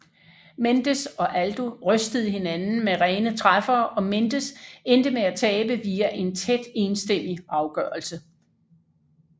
Mendes og Aldo rystede hinanden med rene træffere og Mendes endte med at tabe via en tæt enstemmig afgørelse